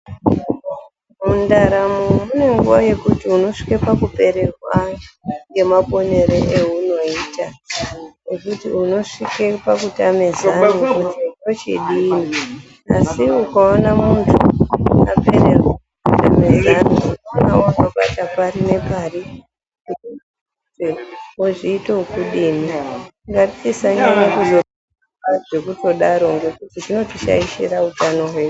Mundaramo mune nguva yekuti unosvike pakupererwa ngemaponere eunoita ekuti unosvike pakutame zano kuti ndochidii. Asi ukaona wapererwa nezano woshaiwe nezano zvekuti unobate pari nepari, wozviite wokudini. Ngatisanyanye kufunga zvekutodaro ngekuti zvinotishaishire utano hwedu.